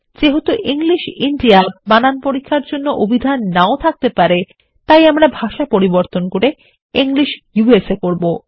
যেহেতু English India বানান পরীক্ষারজন্যঅবিধান নাওথাকতে পারে তাইআমরা ভাষা পরিবর্তন করে ইংলিশ ইউএসএ করব